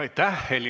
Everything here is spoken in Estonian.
Aitäh!